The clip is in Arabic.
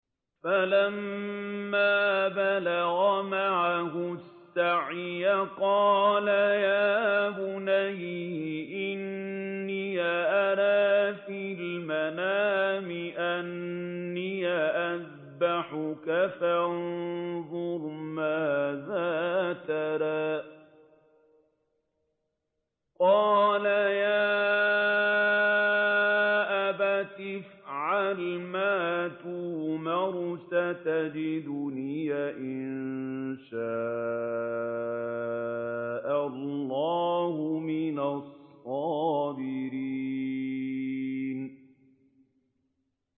فَلَمَّا بَلَغَ مَعَهُ السَّعْيَ قَالَ يَا بُنَيَّ إِنِّي أَرَىٰ فِي الْمَنَامِ أَنِّي أَذْبَحُكَ فَانظُرْ مَاذَا تَرَىٰ ۚ قَالَ يَا أَبَتِ افْعَلْ مَا تُؤْمَرُ ۖ سَتَجِدُنِي إِن شَاءَ اللَّهُ مِنَ الصَّابِرِينَ